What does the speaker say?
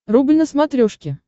рубль на смотрешке